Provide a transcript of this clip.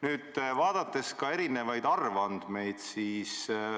Nüüd vaatame arvandmeid.